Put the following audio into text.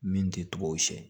Min tɛ tubabuw siɲɛ